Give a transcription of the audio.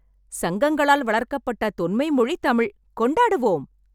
சங்கங்களால் வளர்க்கப்பட்ட தொன்மை மொழி தமிழ். கொண்டாடுவோம்!